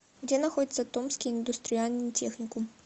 где находится томский индустриальный техникум